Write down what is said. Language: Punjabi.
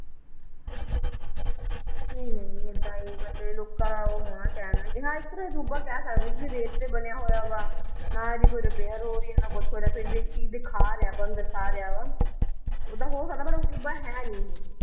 ਨਈ ਨਈ ਏਦਾਂ ਈ ਮਤਲਬ ਇਹ ਲੋਕਾਂ ਦਾ ਉਹ ਹੋਣਾ ਕਹਿਣਾ ਕਿ ਹਾਂ ਇੱਕ ਤਰ੍ਹਾਂ ਅਜੂਬਾ ਕਹਿ ਸਕਦੇ ਹਾਂ ਕਿਉਂਕਿ ਰੇਤ ਤੇ ਬਣਿਆ ਹੋਇਆ ਵਾ ਨਾ ਇਹਦੀ ਕੋਈ repair ਹੋ ਰਹੀ ਆ ਨਾ ਕੁਛ ਹੋ ਰਿਹਾ ਫੇਰ ਵੀ ਇੱਕ ਚੀਜ਼ ਦਿਖਾ ਰਿਹਾ ਆਪਾਂ ਨੂੰ ਦਰਸਾ ਰਿਹਾ ਵਾ, ਓਦਾਂ ਹੋ ਸਕਦਾ ਪਰ ਅਜੂਬਾ ਹੈ ਨਈ ਇਹ